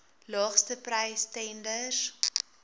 laagste prys tenders